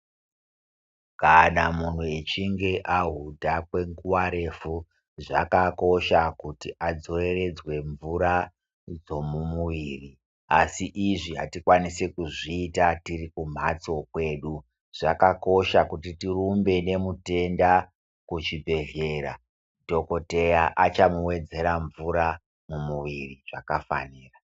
Kana muntu echinge ahudha kwenguva refu zvakakosha kuti adzoreredzwe mvura dzomumuviri asi izvi hatikwanisi kuzviita tirikumhatso kwedu zvakakosha kuti tirumbe nemutenda kuchibhedhlera dhokodheya achamuwedzera mvura mumwiiri zvakafanira.